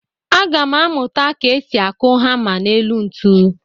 Aga m amụta ka esi akụ hama n'elu ntu.